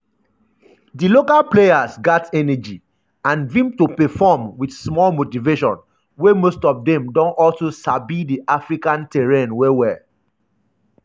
“di local players gat energy and vim to perform wit small motivation wey most of dem also sabi di african terrain well well.”